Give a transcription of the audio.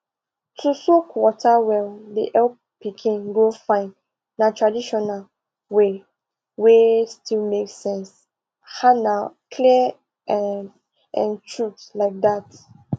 to soak water well dey help pikin grow fine na traditional way wey still make sense ah na clear um um truth like that